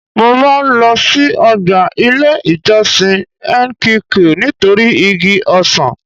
Mo máa ń lo sí ọgbà ilé ìjọsìn nqq nítorí igi ọsàn.